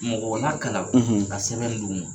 Mɔgɔw nakalan ka sɛbɛn de do o